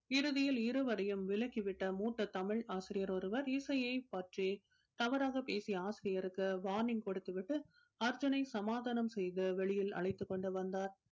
இறுதியில் இருவரையும் விளக்கி விட்ட மூத்த தமிழ் ஆசிரியர் ஒருவர் இசையைப் பற்றி தவறாக பேசிய ஆசிரியருக்கு warning கொடுத்து விட்டு அர்ஜுனை சமாதானம் செய்து வெளியில் அழைத்துக் கொண்டு வந்தார்